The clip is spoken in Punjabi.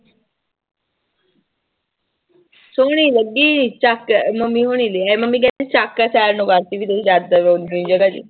ਸੋਹਣੀ ਲੱਗੀ ਚੱਕ ਮੰਮੀ ਹੋਣੀ ਲਏ ਆਏ ਮੰਮੀ ਕਹਿੰਦੀ ਚੱਕ